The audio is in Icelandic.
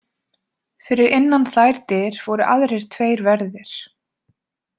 Fyrir innan þær dyr voru aðrir tveir verðir.